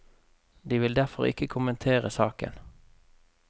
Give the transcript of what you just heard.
De vil derfor ikke kommentere saken.